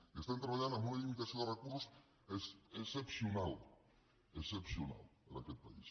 i estem treballant amb una limitació de recursos excepcional excepcional en aquest país